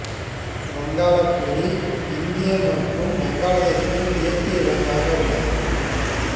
வங்காளப் புலி இந்தியா மற்றும் வங்காளதேசத்தின் தேசிய விலங்காக உள்ளது